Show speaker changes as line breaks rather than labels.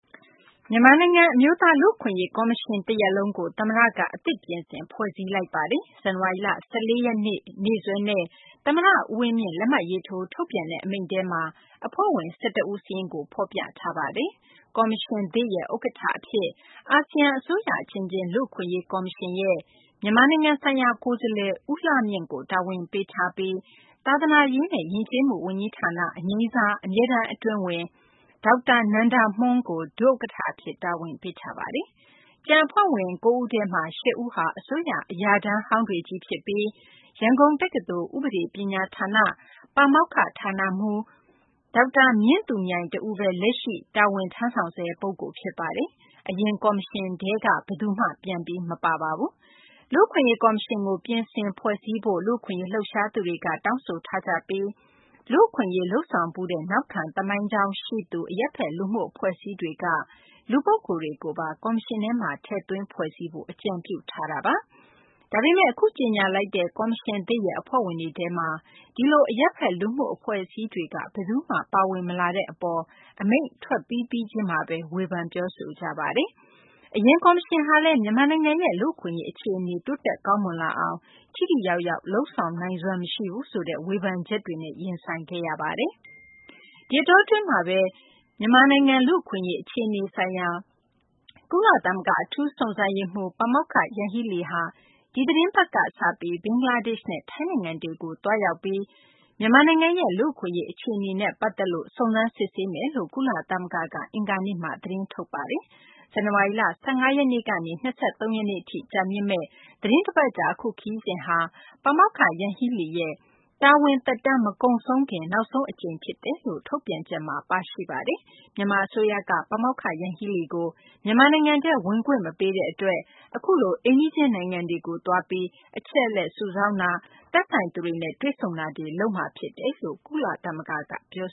မြန်မာနိုင်ငံ အမျိုးသား လူ့အခွင့်အရေးကော်မရှင် တရပ်လုံးကို သမ္မတက အသစ် ပြင်ဆင် ဖွဲ့စည်းလိုက်ပါတယ်။ ဇန်နဝါရီလ ၁၄ ရက်နေ့စွဲနဲ့ သမ္မတဦးဝင်းမြင့် လက်မှတ်ရေးထိုး ထုတ်ပြန်တဲ့ အမိန့်ထဲမှာ အဖွဲ့ဝင် ၁၁ ဦးစာရင်းကို ဖော်ပြထားပါတယ်။ ကော်မရှင်သစ်ရဲ့ ဥက္ကဋ္ဌအဖြစ် အာဆီယံ အစိုးရအချင်းချင်း လူ့အခွင့်အရေးကော်မရှင်ရဲ့ မြန်မာနိုင်ငံဆိုင်ရာကိုယ်စားလှယ် ဦးလှမြင့်ကို တာဝန်ပေးထားပြီး သာသနာရေးနဲ့ ယဉ်ကျေးမှုဝန်ကြီးဌာန အငြိမ်းစား အမြဲတမ်းအတွင်းဝန် ဒေါက်တာနန္ဒာမွှန်းကို ဒုဥက္ကဋ္ဌအဖြစ် တာဝန်ပေးထားပါတယ်။ ကျန်အဖွဲ့ဝင် ၉ ဦးထဲမှာ ၈ ဦးဟာ အစိုးရ အရာထမ်းဟောင်းတွေချည်းဖြစ်ပြီး ရန်ကုန်တက္ကသိုလ်၊ ဥပဒေပညာဌာန၊ ပါမောက္ခ/ဌာနမှူး ဒေါက်တာမြင့်သူမြိုင်တဦးပဲ လက်ရှိ တာဝန်ထမ်းဆောင်ဆဲ ပုဂ္ဂိုလ်ဖြစ်ပါတယ်။ အရင်ကော်မရှင်ထဲက ဘယ်သူ မှ ပြန်မပါပါဘူး။ လူ့အခွင့်အရေးကော်မရှင်ကို ပြင်ဆင်ဖွဲ့စည်းဖို့ လူ့အခွင့်အရေး လှုပ်ရှားသူတွေက တောင်းဆိုထားကြပြီး လူ့အခွင့်အရေး လုပ်ဆောင်ဖူးတဲ့ နောက်ခံသမိုင်းကြောင်းရှိသူ အရပ်ဖက်လူမှုအဖွဲ့အစည်းတွေက လူပုဂ္ဂိုလ်တွေကိုပါ ကော်မရှင်ထဲမှာ ထည့်သွင်း ဖွဲ့စည်းဖို့ အကြံပြုထားကြပါ။ ဒါပေမယ့် အခုကြေညာလိုက်တဲ့ ကော်မရှင်သစ်ရဲ့ အဖွဲ့ဝင်တွေထဲမှာ အဲဒီလို အရပ်ဖက်လူမှုအဖွဲ့အစည်းတွေက ဘယ်သူမှ ပါဝင် မလာတဲ့အပေါ် အမိန့် ထွက်ပြီးပြီးချင်းမှာပဲ ဝေဖန်ပြောဆိုကြပါတယ်။ အရင်ကော်မရှင်ဟာလည်း မြန်မာနိုင်ငံရဲ့ လူ့အခွင့်အရေးအခြေအနေ တိုးတက် ကောင်းမွန်လာအောင် ထိထိရောက်ရောက် လုပ်ဆောင်နိုင်စွမ်းမရှိဘူးဆိုတဲ့ ဝေဖန်ချက်တွေနဲ့ ရင်ဆိုင်ခဲ့ရပါတယ်။ ဒီအတောအတွင်းမှာပဲ မြန်မာနိုင်ငံ လူ့အခွင့်အရေး အခြေအနေဆိုင်ရာ ကုလသမဂ္ဂ အထူးစုံစမ်းစစ်ဆေးရေးမှူး ပါမောက္ခ ယန် ဟီးလီဟာ ဒီသီတင်းပတ်ကစပြီး ဘင်္ဂလားဒေ့ရှ်နဲ့ ထိုင်းနိုင်ငံတွေကို သွားရောက်ပြီးတော့ မြန်မာနိုင်ငံရဲ့ လူ့အခွင့်အရေး အခြေအနေနဲ့ပတ်သက်ပြီး စုံစမ်းစစ်ဆေးမယ်လို့ ကုလသမဂ္ဂက အင်္ဂါနေ့မှာ သတင်းထုတ်ပြန်ပါတယ်။ ဇန်နဝါရီလ ၁၅ ရက်နေ့ကနေ ၂၃ ရက်နေ့အထိ ကြာမြင့်မယ့် သီတင်းတပတ်ကြာ အခုခရီးစဉ်ဟာ ပါမောက္ခ ယန်ဟီးလီရဲ့ တာဝန်သက်တမ်းမကုန်ဆုံးခင် နောက်ဆုံးအကြိမ်ဖြစ်တယ်လို့ ထုတ်ပြန်ချက်မှာပါရှိပါတယ်။ မြန်မာအစိုးရက ပါမောက္ခ ယန်ဟီးလီကို မြန်မာနိုင်ငံထဲ ဝင်ခွင့်မပေးတဲ့အတွက် အခုလို အိမ်နီးချင်းနိုင်ငံတွေကိုသွားပြီး အချက် အလက်စုဆောင်းတာ၊ သက်ဆိုင်သူတွေနဲ့ တွေ့ဆုံတာတွေ လုပ်မှာဖြစ်တယ်လို့ ကုလသမဂ္ဂကပြော